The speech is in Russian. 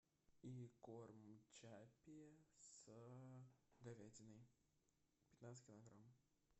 и корм чаппи с говядиной пятнадцать килограмм